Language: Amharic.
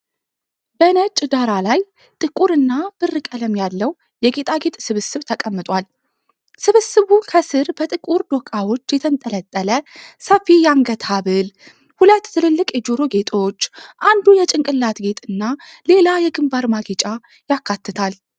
በነጭ ዳራ ላይ ጥቁር እና ብር ቀለም ያለው የጌጣጌጥ ስብስብ ተቀምጧል። ስብስቡ ከስር በጥቁር ዶቃዎች የተንጠለጠለ ሰፊ የአንገት ሐብል፣ ሁለት ትልልቅ የጆሮ ጌጦች፣ አንዱ የጭንቅላት ጌጥ እና ሌላ የግንባር ማጌጫ ያካትታል።